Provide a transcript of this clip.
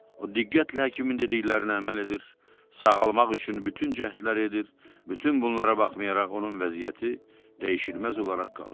O diqqətlə həkimin dediklərinə əməl edir, sağalmaq üçün bütün cəhdlər edir, bütün bunlara baxmayaraq onun vəziyyəti dəyişilməz olaraq qalırdı.